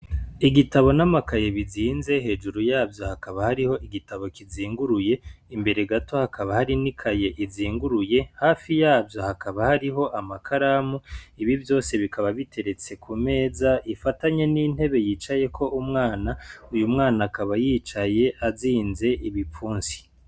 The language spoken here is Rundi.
Igitabo n'amakaye bizinze hejuru yavyo hakaba hariho igitabo kizinguruye, imbere gato hakaba hari ni kaye izinguruye, hafi yavyo hakaba hariho amakaramu, ibi vyose bikaba biteretse ku meza ifatanye n'intebe yicayeko umwana, uyu mwana akaba yicaye azinze ibipfunsi.